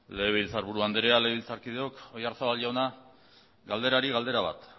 legebiltzarburu andrea legebiltzarkideok oyarzabal jauna galderari galdera bat